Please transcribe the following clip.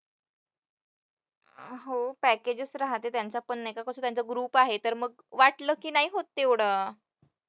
हो, packages राहते त्यांचं पण कसं group आहे तर मग वाटलं की नाही होत तेवढं.